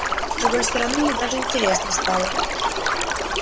с другой стороны мне даже интересно стало